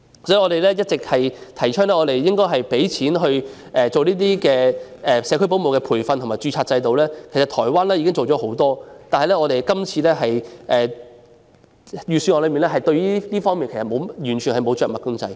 所以，我們一直提倡應該投放資源為社區保姆提供培訓及建立註冊制度，台灣在這方面做了很多工作，但今年預算案就這方面完全沒有着墨。